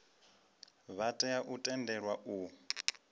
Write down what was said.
vha tea u tendelwa u